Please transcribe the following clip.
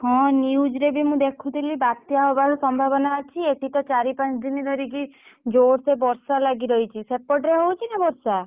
ହଁ news ରେ ବି ମୁଁ ଦେଖୁଥିଲି ବାତ୍ୟା ହବାର ସମ୍ଭାବନା ଅଛି ଏଠି ତ ଚାରି ପାଞ୍ଚ ଦିନି ଧରିକି ଜୋରସେ ବର୍ଷା ଲାଗି ରହିଛି ସେପଟରେ ହଉଛି ନା ବର୍ଷା?